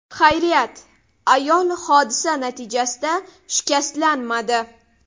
Xayriyat, ayol hodisa natijasida shikastlanmadi.